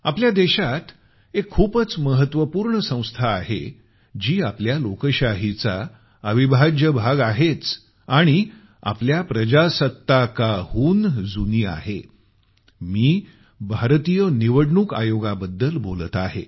आपल्या देशात एक खूपच महत्वपूर्ण संस्था आहे जी आपल्या लोकशाहीचा अविभाज्य भाग आहेच आणि आपल्या प्रजासात्ताकाहून जुनी आहे मी भारतीय निवडणूक आयोगाबद्दल बोलत आहे